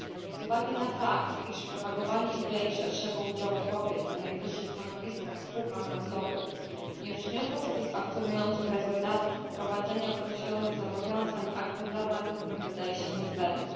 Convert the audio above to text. Z uwagi na fakt, iż propagowanie idei szerszego udziału kobiet na najwyższych stanowiskach w spółkach handlowych nie przyniosło satysfakcjonujących rezultatów, wprowadzenie określonych zobowiązań aktem normatywnym wydaje się niezbędne.